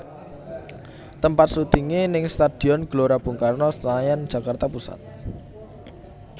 Tempat syutingé ning Stadion Gelora Bung Karno Senayan Jakarta Pusat